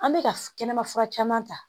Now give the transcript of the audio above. An bɛka kɛnɛma fura caman ta